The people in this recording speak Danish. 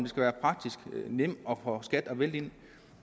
skal være praktisk og nemt for skat at vælte ind